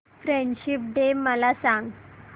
friendship day मला सांग